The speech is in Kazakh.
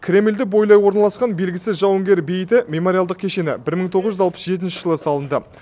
кремльді бойлай орналасқан белгісіз жауынгер бейіті мемориалдық кешені бір мың тоғыз жүз алпыс жетінші жылы салынды